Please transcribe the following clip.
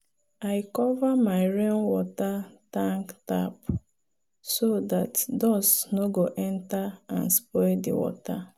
i cover my rainwater tank tap so dat dust no go enter and spoil the water.